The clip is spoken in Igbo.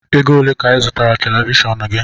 Ego ole ka I zụtara televishọọnu gị?